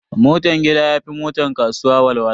Motan gida ya fi motar kasuwa walwala.